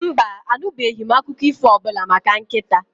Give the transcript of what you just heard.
Mba, anụbeghị m akụkọ ífò ọbụla maka nkịta?